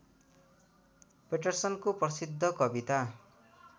पैटरसनको प्रसिद्ध कविता